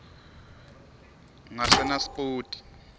ngasenaspoti